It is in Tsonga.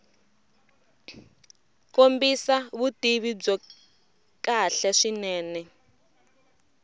kombisa vutivi byo kahle swinene